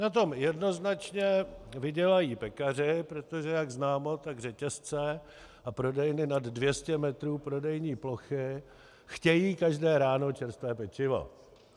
Na tom jednoznačně vydělají pekaři, protože jak známo, tak řetězce a prodejny nad 200 metrů prodejní plochy chtějí každé ráno čerstvé pečivo.